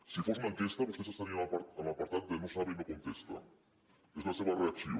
si fos una enquesta vostès estarien en l’apartat de no sabe no contesta és la seva reacció